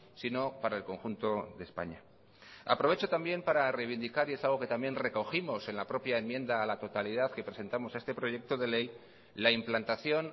sino para el conjunto de españa aprovecho también para reivindicar y es algo que también recogimos en la propia enmienda a la totalidad que presentamos a este proyecto de ley la implantación